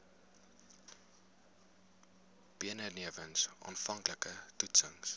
benewens aanvanklike toetsings